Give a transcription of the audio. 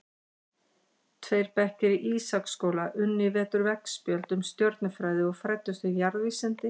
Tveir bekkir í Ísaksskóla unnu í vetur veggspjöld um stjörnufræði og fræddust um jarðvísindi.